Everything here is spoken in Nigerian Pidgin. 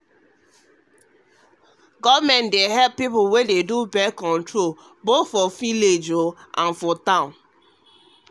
born-control wey government dey backdey help people get their right to plan familywhether dem dey village or town true talk